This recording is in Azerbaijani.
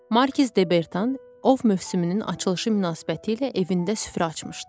Markiz Debertan ov mövsümünün açılışı münasibətilə evində süfrə açmışdı.